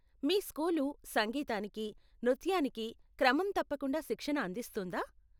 మీ school సంగీతానికి, నృత్యానికి క్రమంతప్పకుండా శిక్షణ అందిస్తుందా?